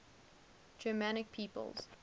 germanic peoples